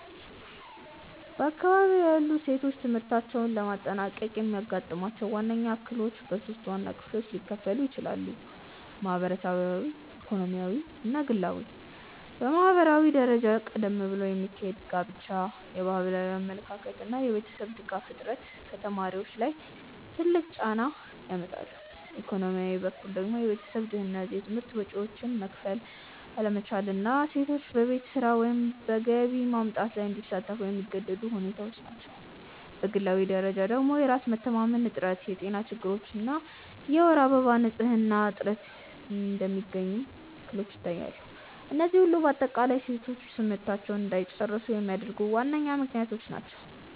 በአካባቢዬ ያሉ ሴቶች ትምህርታቸውን ላለማጠናቀቅ የሚያጋጥሟቸው ዋነኞቹ እክሎች በሶስት ዋና ክፍሎች ሊከፈሉ ይችላሉ። ማህበራዊ፣ ኢኮኖሚያዊ እና ግላዊ። በማህበራዊ ደረጃ ቀደም ብሎ የሚካሄድ ጋብቻ፣ የባህላዊ አመለካከት እና የቤተሰብ ድጋፍ እጥረት ከተማሪዎች ላይ ትልቅ ጫና ያመጣሉ፤ ኢኮኖሚያዊ በኩል ደግሞ የቤተሰብ ድህነት፣ የትምህርት ወጪዎችን መክፈል አለመቻል እና ሴቶች በቤት ስራ ወይም በገቢ ማምጣት ላይ እንዲሳተፉ የሚገደዱ ሁኔታዎች ናቸው፤ በግላዊ ደረጃ ደግሞ የራስ መተማመን እጥረት፣ የጤና ችግሮች እና የወር አበባ ንፅህና እጥረት እንደሚገኙ እክሎች ይታያሉ፤ እነዚህ ሁሉ በአጠቃላይ ሴቶች ትምህርታቸውን እንዳይጨርሱ የሚያደርጉ ዋነኞቹ ምክንያቶች ናቸው።